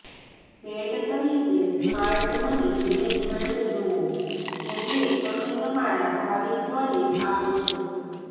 ભેટ તરીકે smart money management જુઓ કે જે તમે તમારા ભાવિ સ્વને આપો છો